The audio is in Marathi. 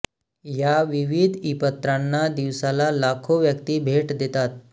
या विविध ईपत्रांना दिवसाला लाखो व्यक्ती भेट देतात